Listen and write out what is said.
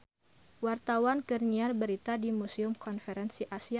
Wartawan keur nyiar berita di Museum Konferensi Asia Afrika